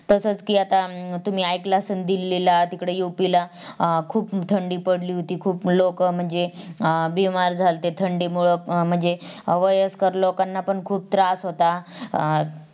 तसाच कि आता तुम्ही ऐकला असेल दिल्लीला तिकडं UP ला अं खूप थंडी पडली होती खूप लोक म्हणजे अं बिमार झाली होती थंडीमुळे म्हणजे वयस्कर लोकांनापण खूप त्रास होता